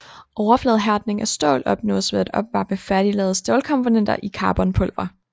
Overfladehærdning af stål opnås ved at opvarme færdiglavede stålkomponenter i carbonpulver